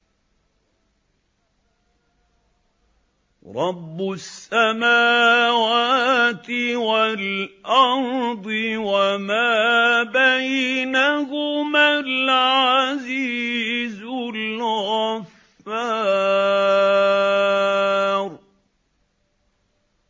رَبُّ السَّمَاوَاتِ وَالْأَرْضِ وَمَا بَيْنَهُمَا الْعَزِيزُ الْغَفَّارُ